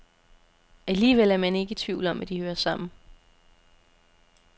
Alligevel er man ikke i tvivl om, at de hører sammen.